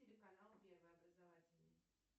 телеканал первый образовательный